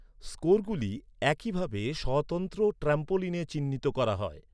স্কোরগুলি একইভাবে স্বতন্ত্র ট্র্যাম্পোলিনে চিহ্নিত করা হয়।